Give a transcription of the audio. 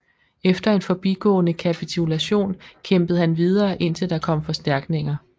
Efter en forbigående kapitulation kæmpede han videre indtil der kom forstærkninger